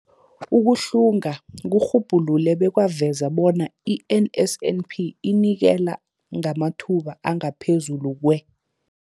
Ukuhlunga kurhubhulule bekwaveza bona i-NSNP inikela ngamathuba angaphezulu kwe-